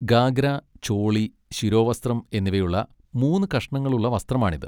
ഗാഗ്ര, ചോളി, ശിരോവസ്ത്രം എന്നിവയുള്ള മൂന്ന് കഷണങ്ങളുള്ള വസ്ത്രമാണിത്.